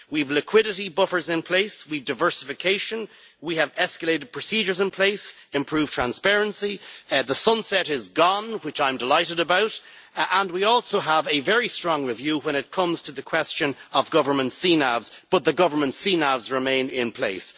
We have liquidity buffers in place, we have diversification, we have escalated procedures in place, improved transparency, the sunset clause is gone which I am delighted about, and we also have a very strong review when it comes to the question of government CNAVs, but the government CNAVs remain in place.